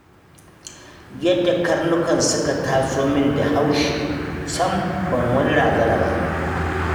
Yadda karnukan suka taso min da haushi, sam ban wani razana ba.